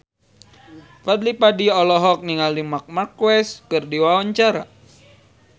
Fadly Padi olohok ningali Marc Marquez keur diwawancara